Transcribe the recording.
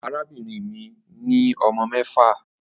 Arabinrin mi ni ọmọ mẹfa